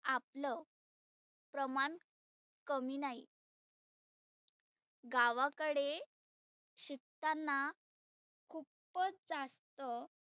आपलं प्रमाण कमी नाही गावाकडे शिकताना खुपच जास्त